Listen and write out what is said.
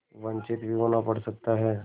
वंचित भी होना पड़ सकता है